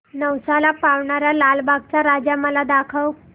नवसाला पावणारा लालबागचा राजा मला दाखव